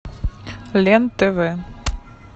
лен тв